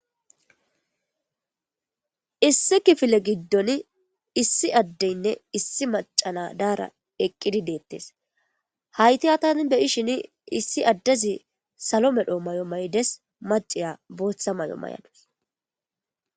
Issi kiffile giidon issi adeynne issi macca na'ayeri eqqidi de'ettess haytta tani be'shsin issi adezi sallo medhdho maayo mayidess macciya booththa maayo mayaduss.